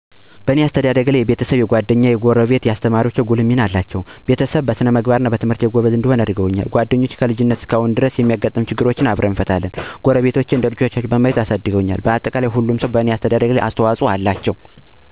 እኔ በአስተዳደጊ ላይ የቤሰብም፣ የጓደኛም፣ የጎረቤትም እናየአሰተማሪወቸ ጉልህ ሚና አለው። ለምሳሌ በቤሰብ ጥሩ ስነ-ምግባር እንዲኖረኝና በትምህርቴ ጎበዝ እንድሆን ጉልህ ሚና አላቸው። ጓደኞቸ ከልጅነት አንስቶ እስካሁን ድረስ ጠንካራ ግንኙነት አለን። አብረን ከመጫወች አልፎ ትልልቅ ችግሮች በይይት እና በመነጋገር መልካም ግንኙነት አለኝ። ጎረቤትም ቢሆን እንደልቻቸው በማየት አሳድገውኛል አሁንም ድረስ ይወዱኛል እወዳቸዋለሁ። በአጠቃላይ ሁሉም ለአሰተደደጊ የራሱ አሰተዋፅኦ አላቸው።